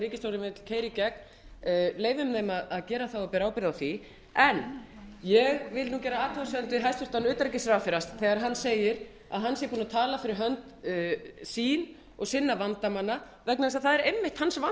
ríkisstjórnin vill keyra í gegn leyfum þeim að gera það og bera ábyrgð á því en ég vil gera athugasemd við hæstvirtan utanríkisráðherra þegar hann segir að hann sé búinn að tala fyrir hönd sína og sinna vandamanna vegna þess að það er einmitt